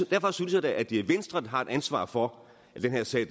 derfor synes jeg da at det er venstre der har et ansvar for at den her sag